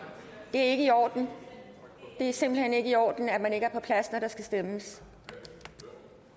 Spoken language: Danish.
det er ikke i orden det er simpelt hen ikke i orden at man ikke er på plads når der skal stemmes der